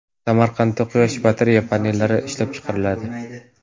Samarqandda quyosh batareya panellari ishlab chiqariladi.